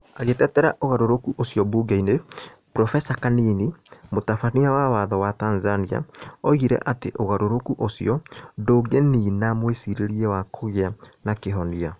Agitetera ũgarũrũku ũcio mbungeinĩ, Profesa Kanini, Mũtabania wa Watho wa Tanzania, oigire atĩ ũgarũrũku ũcio ndũngĩniina mwĩcirĩrie wa kũgĩa na kihonia.